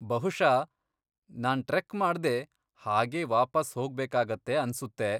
ಬಹುಷಃ ನಾನ್ ಟ್ರೆಕ್ ಮಾಡ್ದೇ ಹಾಗೇ ವಾಪಸ್ ಹೋಗ್ಬೇಕಾಗತ್ತೆ ಅನ್ಸುತ್ತೆ.